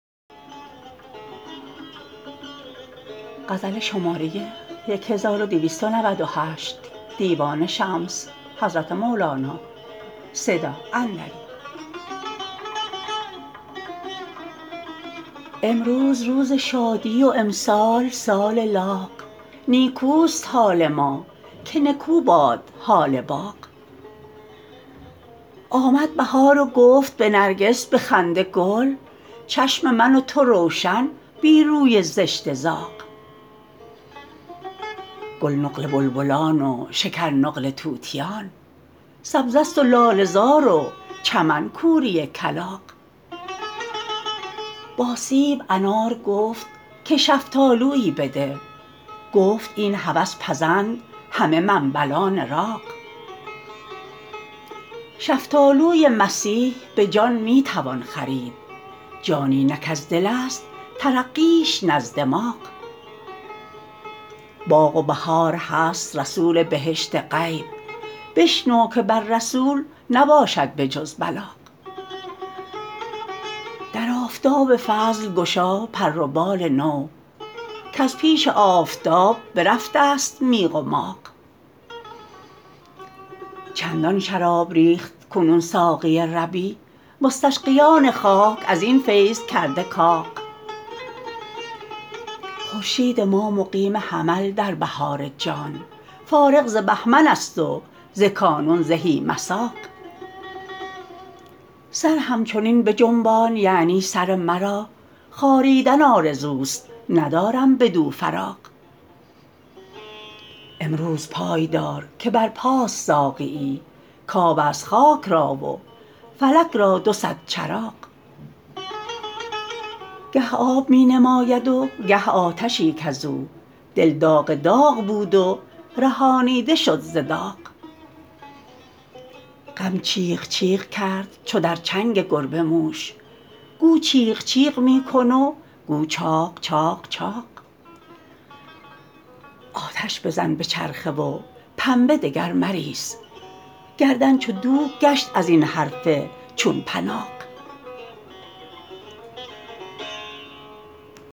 امروز روز شادی و امسال سال لاغ نیکوست حال ما که نکو باد حال باغ آمد بهار و گفت به نرگس به خنده گل چشم من و تو روشن بی روی زشت زاغ گل نقل بلبلان و شکر نقل طوطیان سبزه ست و لاله زار و چمن کوری کلاغ با سیب انار گفت که شفتالویی بده گفت این هوس پزند همه منبلان راغ شفتالوی مسیح به جان می توان خرید جانی نه کز دلست ترقیش نه از دماغ باغ و بهار هست رسول بهشت غیب بشنو که بر رسول نباشد بجز بلاغ در آفتاب فضل گشا پر و بال نو کز پیش آفتاب برفته ست میغ و ماغ چندان شراب ریخت کنون ساقی ربیع مستسقیان خاک از این فیض کرده کاغ خورشید ما مقیم حمل در بهار جان فارغ ز بهمنست و ز کانون زهی مساغ سر همچنین بجنبان یعنی سر مرا خاریدن آرزوست ندارم بدو فراغ امروز پای دار که برپاست ساقیی کبست خاک را و فلک را دو صد چراغ گه آب می نماید و گه آتشی کز او دل داغ داغ بود و رهانیده شد ز داغ غم چیغ چیغ کرد چو در چنگ گربه موش گو چیغ چیغ می کن و گو چاغ چاغ چاغ آتش بزن به چرخه و پنبه دگر مریس گردن چو دوک گشت این حرف چون پناغ